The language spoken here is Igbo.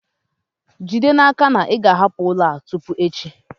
Jide n'aka na ị ga-ahapụ ụlọ a tupu echi!